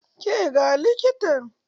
Ka ga likitan?